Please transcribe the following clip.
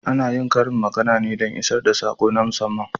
Ana yin karin magana ne don a isar da sako na musamman.